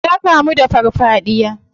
Ya kamu da farfadiya.